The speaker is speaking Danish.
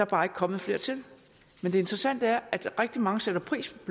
bare ikke kommet flere til men det interessante er at rigtig mange sætter pris